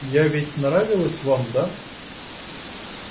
я ведь нравилась вам да